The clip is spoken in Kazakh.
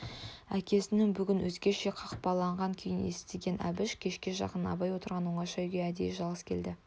әкесінің бүгін өзгеше қапаланған күйін естіген әбіш кешке жақын абай отырған оңаша үйге әдейі жалғыз келді